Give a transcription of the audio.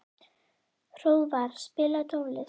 Hróðvar, spilaðu tónlist.